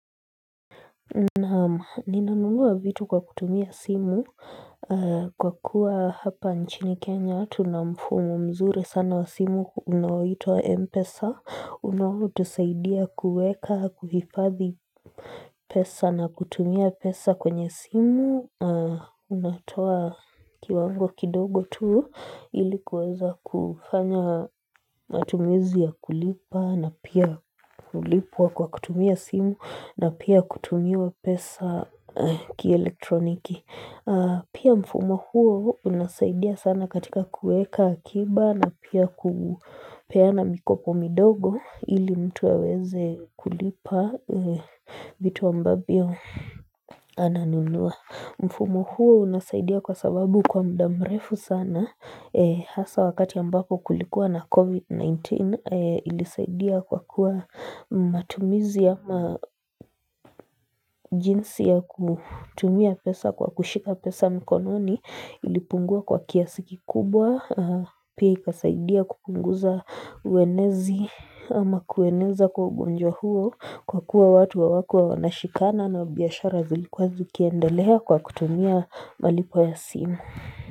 Naam ninanunua vitu kwa kutumia simu kwa kuwa hapa nchini kenya tuna mfumo mzuri sana wa simu unaoitwa Mpesa unaotusaidia kuweka kuhifadhi pesa na kutumia pesa kwenye simu unatoa kiwango kidogo tu ili kuweza kufanya matumizi ya kulipa na pia kulipwa kwa kutumia simu na pia kutumiwa pesa kielektroniki pia mfumo huo unasaidia sana katika kuweka akiba na pia kupeana mikopo midogo ili mtu aweze kulipa vitu ambavyo ananunua mfumo huo unasaidia kwa sababu kwa muda mrefu sana hasa wakati ambapo kulikuwa na COVID-19 ilisaidia kwa kuwa matumizi ama jinsi ya kutumia pesa kwa kushika pesa mkononi ilipungua kwa kiasi kikubwa. Pia ikasaidia kupunguza uenezi ama kueneza kwa ugonjwa huo kwa kuwa watu hawakuwa wanashikana na biashara zilikuwa zikiendelea kwa kutumia malipo ya simu.